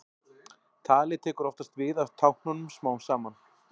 Talið tekur oftast við af táknunum smám saman.